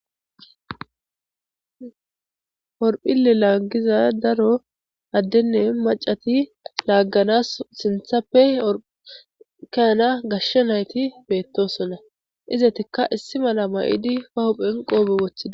orphille laaggiza daro addenne macati laagganas sinthappe orhkehana gashsha nayti beettosonna izetikka issi mala mayidi ba huphen qoobe wothida